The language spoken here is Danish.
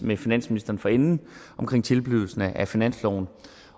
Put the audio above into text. med finansministeren for enden om tilblivelsen af finansloven